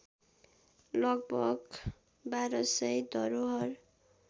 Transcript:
लगभग १२०० धरोहर